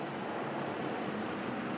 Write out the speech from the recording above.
Nə vaxt gəlir?